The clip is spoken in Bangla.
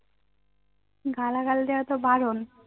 গালাগাল দেওয়া তো বারণ